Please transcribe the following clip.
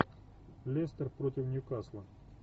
лестер против ньюкасла